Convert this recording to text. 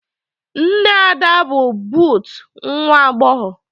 Nne Ada bụ but nwa agbọghọ.